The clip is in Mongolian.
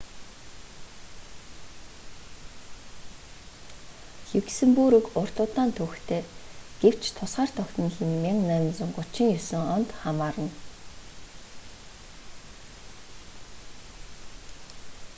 люксембург урт удаан түүхтэй гэвч тусгаар тогтнол нь 1839 онд хамаарна